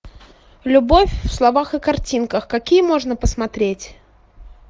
любовь в словах и картинках какие можно посмотреть